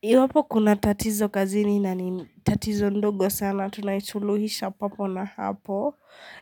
Iwapo kuna tatizo kazini na ni tatizo ndogo sana tunaishuluhisha papo na hapo